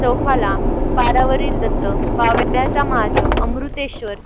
चौफाला, पारावरील दत्त, बावळ्याचा महादेव, अमृतेश्वर